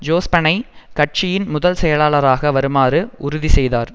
ஜோஸ்பனை கட்சியின் முதல் செயலாளராக வருமாறு உறுதிசெய்தார்